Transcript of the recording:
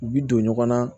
U bi don ɲɔgɔn na